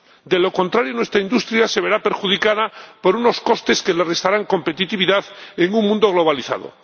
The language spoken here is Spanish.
De lo contrario, nuestra industria se verá perjudicada por unos costes que le restarán competitividad en un mundo globalizado.